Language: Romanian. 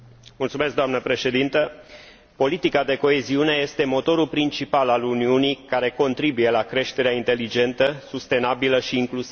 Doamnă președintă, politica de coeziune este motorul principal al Uniunii, care contribuie la creșterea inteligentă, sustenabilă și favorabilă incluziunii.